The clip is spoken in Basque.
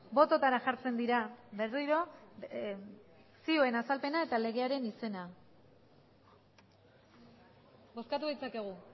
bototara jartzen dira berriro zioen azalpena eta legearen izena bozkatu ditzakegu